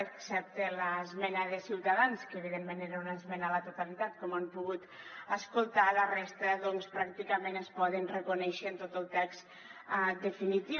excepte l’esmena de ciutadans que evidentment era una esmena a la totalitat com han pogut escoltar la resta doncs pràcticament es poden reconèixer en tot el text definitiu